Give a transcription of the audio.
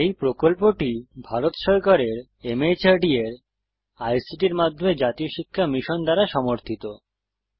এই প্রকল্পটি ভারত সরকারের মাহর্দ এর আইসিটির মাধ্যমে জাতীয় শিক্ষা মিশন দ্বারা সমর্থিত